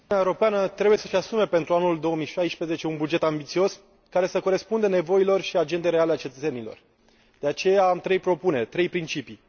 Doamnă președinte, Uniunea Europeană trebuie să își asume pentru anul 2016 un buget ambițios, care să corespundă nevoilor și agendei reale a cetățenilor. De aceea, am trei propuneri, trei principii.